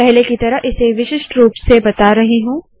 पहले की तरह इसे विशिष्ट रूप से बता रही हूँ